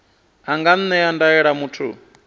a nga ṅea ndaela muthu